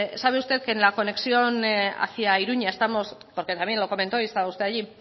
sabe usted que la conexión hacía iruña porque también lo comentó y estaba usted allí